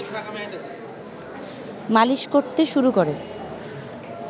মালিশ করতে শুরু করে